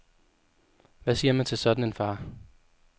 Hvad siger man til en sådan far.